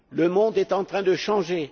Le monde est en train de changer.